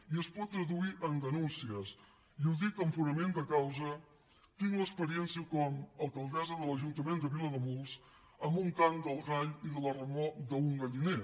i es poden traduir en denúncies i ho dic amb fonament de causa en tinc l’experiència com a alcaldessa de l’ajuntament de vilademuls amb un cant del gall i la remor d’un galliner